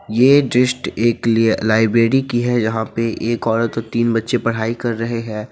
ये डिस्ट एक लिय लाइब्रेरी की है जहां पे एक औरत और तीन बच्चे पढ़ाई कर रहे हैं।